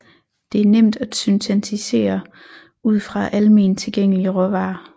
Det er nemt at syntetisere ud fra alment tilgængelige råvarer